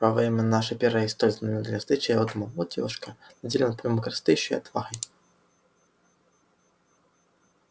во время нашей первой и столь знаменательной встречи я думал вот девушка наделённая помимо красоты ещё и отвагой